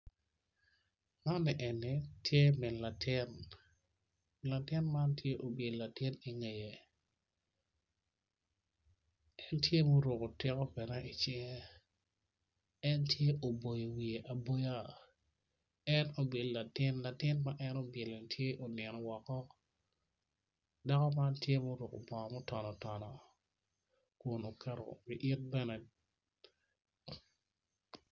Man eni tye min latin Atuo nam macol tar coltar doge bor, atudo man tye ka wakwan i pii mandit atudo ni dong owakngo ook i ka nget yat moma otwi atiya i dye pii man.